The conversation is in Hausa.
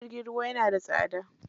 Jirgin ruwa yana da tsada.